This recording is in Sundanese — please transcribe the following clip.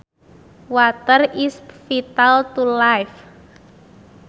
Water is vital to life